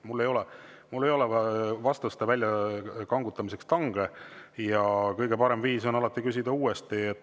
Mul ei ole vastuste väljakangutamiseks tange ja kõige parem viis on alati küsida uuesti.